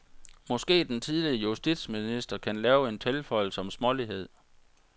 Måske den tidligere justitsminster kan lave en tilføjelse om smålighed.